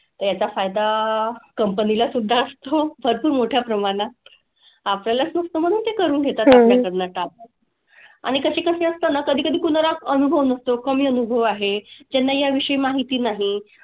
याचा फायदा company ला सुद्धा असतो भरपूर मोठ्या प्रमाणात. आपल्यालाच स्वस्त म्हणून ते करून घेतात आपल्याकडनं काम. आणि कसे कसे असतं ना कधी कधी कुणाला अनुभव नसतो, कमी अनुभव आहे. ज्यांना याविषयी माहिती नाही.